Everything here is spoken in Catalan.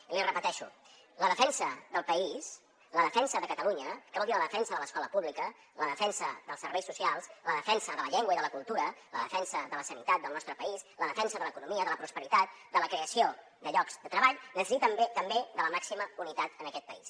i l’hi repeteixo la defensa del país la defensa de catalunya que vol dir la defensa de l’escola pública la defensa dels serveis socials la defensa de la llengua i de la cultura la defensa de la sanitat del nostre país la defensa de l’economia de la prosperitat de la creació de llocs de treball necessiten també de la màxima unitat en aquest país